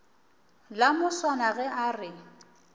la moswana ge a re